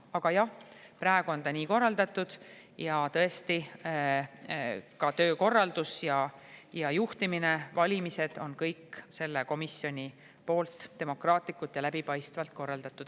Aga jah, praegu on ta nii korraldatud, ja tõesti, ka töökorraldus, juhtimine ja valimised on kõik selle komisjoni poolt demokraatlikult ja läbipaistvalt korraldatud.